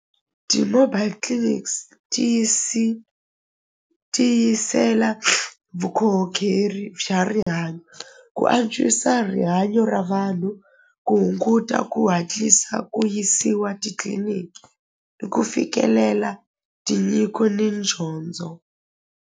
Ti-mobile clinics ti yisela vukhorhokeri xa rihanyo ku antswisa rihanyo ra vanhu ku hunguta ku hatlisa ku yisiwa titliliniki ni ku fikelela tinyiko ni .